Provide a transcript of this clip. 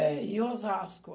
É, em Osasco.